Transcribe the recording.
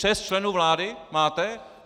Šest členů vlády máte?